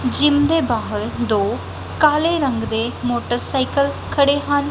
Gym ਦੇ ਬਾਹਰ ਦੋ ਕਾਲੇ ਰੰਗ ਦੇ ਮੋਟਰਸਾਈਕਲ ਖੜ੍ਹੇ ਹਨ।